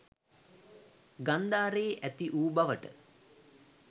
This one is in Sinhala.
ගන්ධාරයේ ඇතිවූ බවට